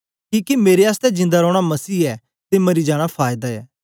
किके मेरे आसतै जिंदा रौना मसीह ऐ ते मरी जाना फायदा ऐ